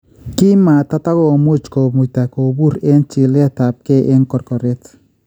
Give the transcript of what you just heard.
Kimatatakomuche komuyta kobuur eng chileetabke eng korkoret